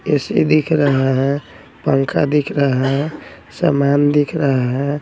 AC दिख रहा हैं पंखा दिख रहा हैं समान दिख रहा हैं।